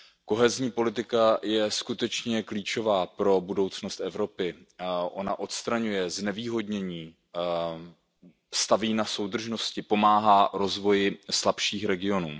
Kohezní politika je skutečně klíčová pro budoucnost Evropy, ona odstraňuje znevýhodnění, staví na soudržnosti, pomáhá rozvoji slabších regionů.